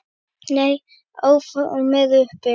Nei, áform eru uppi